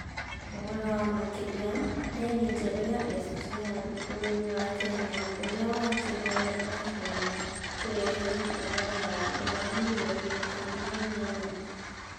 ũhoro makĩria rerĩ njerũ ya SGR bũrũri wa kenya ũrĩa wakirwo ni a caina kũrehe hathara ya dora mĩrioni ikũmi na inyanya